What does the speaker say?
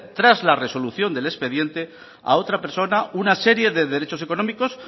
tras la resolución del expediente a otra persona una serie de derechos económicos